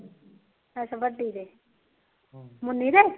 ਅੱਛਾ ਵੱਡੀ ਦੇ ਮੁੰਨੀ ਦੇ